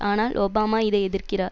ஆனால் ஒபாமா இதை எதிர்க்கிறார்